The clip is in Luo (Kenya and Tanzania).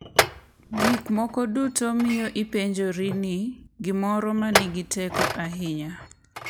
Gik moko duto miyo ipenjori ni gimoro ma nigi teko ahinya .